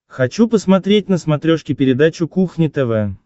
хочу посмотреть на смотрешке передачу кухня тв